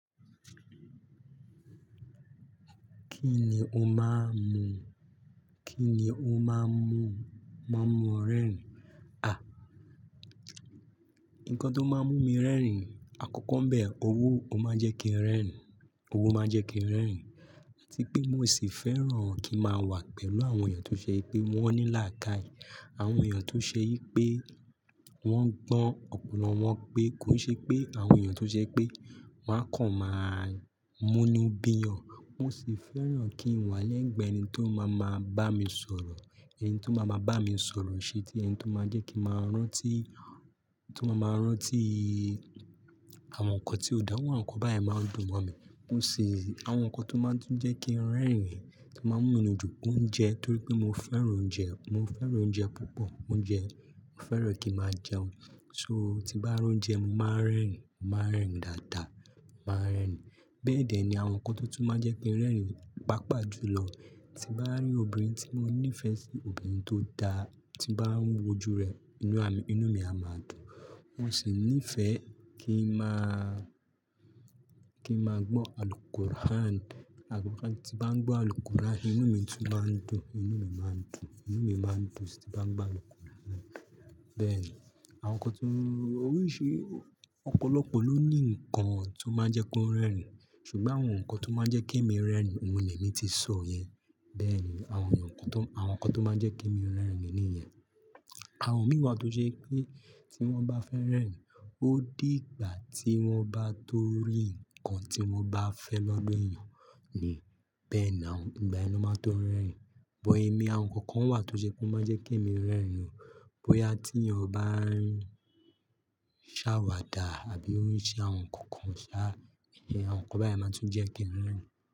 Kí ni o máa ń mu? Kí ni o máa ń mu, máa ń mu o rẹ́rìn? À, nǹkan tó máa ń mú mi rẹ́rìn, àkọ́kọ́ ń bẹ owó ò máa jẹ́ kí n rẹ́rìn, owó máa jẹ́ kí n rẹ́rìn. Áti pé bi mo se fẹ́ràn kí n máa wà pẹ̀lú àwọn èèyàn tó ṣe wipe wọ́n ní làákàyè. Àwọn èèyàn tó ṣe yí pé wọ́n gbọ́n ọpọlọ wọn pé kó n ṣe pé àwọn èèyàn tó ṣe pé won a kàn máa múnu bíyàn. Mo sì fẹ́ràn kí n wà lẹ́gbẹ̀ẹ́ ẹni tó máa máa bá mi sọ̀rọ̀. Ẹni tó máa máa bá mi sọ̀rọ̀ isiti ẹni tó máa jẹ́ kí màá rántí, tó máa máa rántí àwọn nǹkan tí ó da, iru àwọn nǹkan báyen máa dùn mọ́ mi. Mo sì, àwọn nǹkan tó máa ń jẹ́ kí n rẹ́rìn tó máa ń múnù dun, oúnjẹ torí pé mo fẹ́ràn oúnjẹ, mo fẹ́ràn oúnjẹ púpọ̀. Oúnjẹ, mo fẹ́ràn kí máa jẹun. So, tí bá rí oúnjẹ, mo máa ń rẹ́rìn, màá rẹ́rìn dáadáa, màá rẹ́rìn. Bẹ́ẹ̀dẹ̀ ni àwọn nǹkan tó tún máa jẹ́ pé rẹ́rìn, pàápàá jùlọ, tí bá rí obìnrin tí mo ní ìfẹ́ sí, obìnrin tó dára, tí bá ń wojú rẹ̀, inú mi, inú mi a máa dùn. Mo sì ní ìfẹ́ kí n máa, kí n máa gbọ́ Alqur'an. Alqur'an, tí bá ń gbọ́ Alqur'an, inú mi tún máa ń dùn, inú mi máa ń dùn, inú mi máa ń dùn tí bá ń gbọ́ Alqur'an. Bẹ́ẹ̀ ni, àwọn nǹkan tó-- oríṣi ọ̀pọ̀lọpọ̀ ló ní nǹkan tó máa n jẹ́ kó rẹ́rìn. Ṣùgbọ́n àwọn nǹkan tó máa jẹ́ kí èmi rẹ́rìn oun ni èmi ti sọ yẹn. Bẹ́ẹ̀ ni, àwọn nǹkan tó, àwọn nǹkan tó máa jẹ́ kí èmi rẹ́rìn ni ìyẹn. Àwọn mìí wa tó ṣe wipé tí wọ́n bá fẹ́ rẹ́rìn, ó di ìgbà tí wọ́n bá tó rí nǹkan tí wọ́n bá fẹ́ lọ́dọ̀ èèyàn ni. Bẹ́ẹ̀ náà ìgbà yẹni ló máa tó rẹ́rìn. But emi, àwọn nǹkan kan wà tó ṣe pé ó máa ń jẹ́ kí èmi rẹ́rìn. Bóyá tí eeyan ba ń ṣàwàdà àbí o ń ṣe àwọn nǹkan ṣá, àwọn nǹkan báyen máa tún jẹ́ kí n rẹ́rìn.